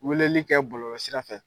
Weleli kɛ bɔlɔlɔ sira fɛ.